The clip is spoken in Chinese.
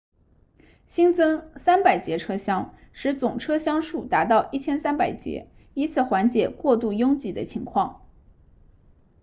新增300节车厢使总车厢数达到1300节以此缓解过度拥挤的情况